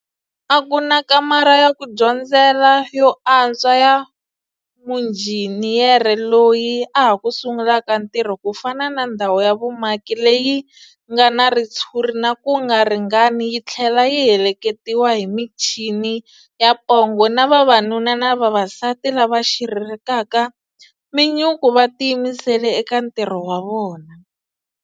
A ku na kamara ya ku dyondzela yo a ntswa ya munjhini yere loyi a ha ku sungulaka ntirho ku fana na ndhawu ya vumaki leyi nga na ritshuri na ku nga ringanani yi thlela yi heleketiwa hi michini ya pongo na vavanuna na vavasati lava xiririkaka minyuku va tiyimisele eka ntirho wa vona.